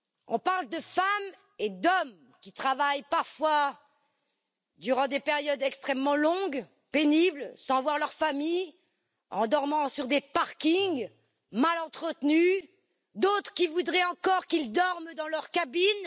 On parle de femmes et d'hommes qui travaillent parfois durant des périodes extrêmement longues, pénibles, sans voir leur famille, en dormant sur des parkings mal entretenus et d'autres voudraient encore qu'ils dorment dans leur cabine.